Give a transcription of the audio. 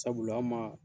Sabula an ma